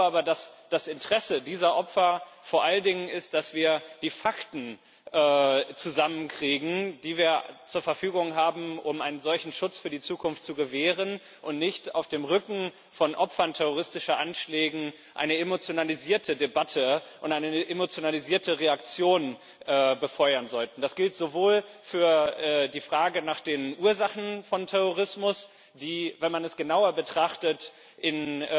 Ich glaube aber, dass das Interesse dieser Opfer vor allen Dingen ist, dass wir die Fakten zusammenkriegen, die wir zur Verfügung haben, um einen solchen Schutz für die Zukunft zu gewähren, und nicht auf dem Rücken von Opfern terroristischer Anschläge eine emotionalisierte Debatte und eine emotionalisierte Reaktion befeuern sollten. Das gilt sowohl für die Frage nach den Ursachen von Terrorismus, die, wenn man es genauer betrachtet,